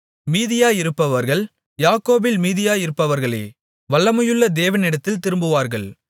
மீதியாயிருப்பவர்கள் யாக்கோபில் மீதியாயிருப்பவர்களே வல்லமையுள்ள தேவனிடத்தில் திரும்புவார்கள்